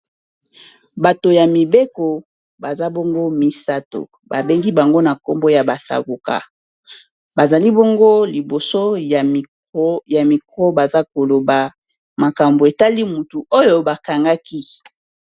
Bato ya mibeko baza bongo misato babengi bango na nkombo ya ba savoka bazali bongo liboso ya micro baza koloba makambo etali motu oyo bakangaki.